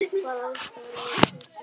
Hvaða ástæða er fyrir því?